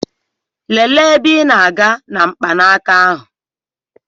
Lelee ebe ị na-aga na mkpanaka ahụ!